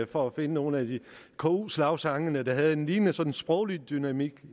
for at finde nogle af ku slagsangene der havde en lignende sproglig dynamik